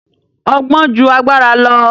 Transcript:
Ọgbọ́n ju agbára lọ.